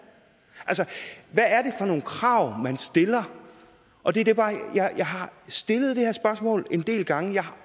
altså hvad er nogle krav man stiller jeg har stillet de her spørgsmål en del gange og jeg har